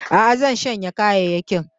Aa, zan shanya kayayyakin